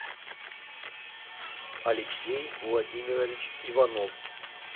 алексей владимирович иванов